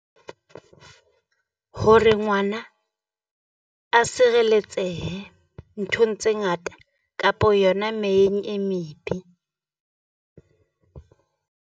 Hore ngwana a sireletsehe nthong tse ngata kapo yona meyeng e mebe.